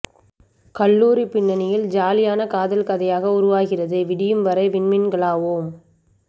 கல்லூரி பின்னணியில் ஜாலியான காதல் கதையாக உருவாகிறது விடியும் வரை விண்மீண்களாவோம்